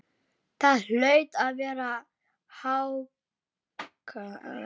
Það hlaut að vera haglél!